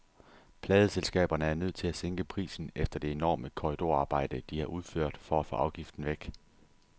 Pladeselskaberne er nødt til at sænke prisen efter det enorme korridorarbejde, de har udført for at få afgiften væk.